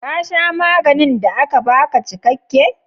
Ka sha maganin da aka baka cikakke?